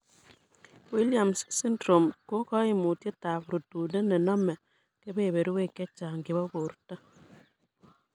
Williams syndrome ko koimutitietab rutunet nenome keberberwek chechang' chebo borto.